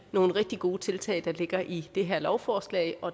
nogle rigtig gode tiltag der ligger i det her lovforslag